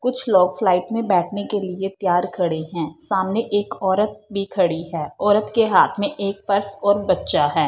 कुछ लोग फ्लाइट में बैठने के लिए तैयार खड़े हैं सामने एक औरत भी खड़ी है औरत के हाथ में एक पर्स और बच्चा है।